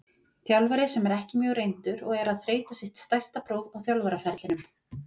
Þjálfari sem er ekki mjög reyndur og er að þreyta sitt stærsta próf á þjálfaraferlinum.